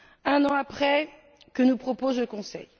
Un an après, que nous propose le Conseil?